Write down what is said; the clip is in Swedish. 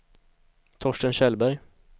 Torsten Kjellberg